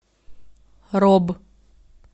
роб